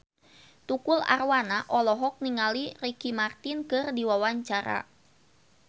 Tukul Arwana olohok ningali Ricky Martin keur diwawancara